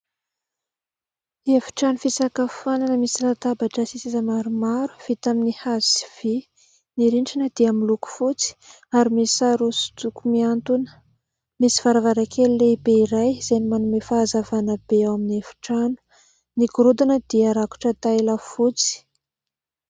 Efitrano fisakafoanana misy latabatra sy seza maromaro vita amin'ny hazo sy vy. Ny rindrina dia miloko fotsy ary misy sary hosodoko mihantona, misy varavarankely lehibe iray izay manome fahazavana be ao amin'ny efitrano, ny gorodona dia rakotra taila fotsy.